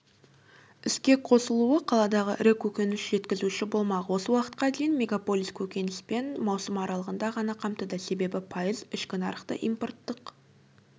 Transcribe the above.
іске қосылуы қаладағы ірі көкөніс жеткізуші болмақ осы уақытқа дейін мегаполис көкөніспе маусым аралығында ғана қамтыды себебі пайыз ішкі нарықты импорттық